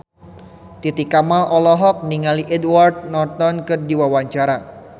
Titi Kamal olohok ningali Edward Norton keur diwawancara